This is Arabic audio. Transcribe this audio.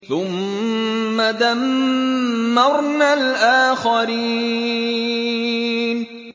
ثُمَّ دَمَّرْنَا الْآخَرِينَ